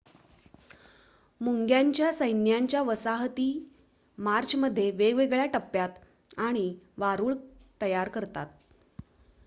मुंग्यांच्या सैन्याच्या वसाहती मार्चमध्ये वेगवेगळ्या टप्प्यात आणि वारूळ तयार करतात